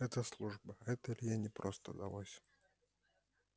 это служба это илье непросто далось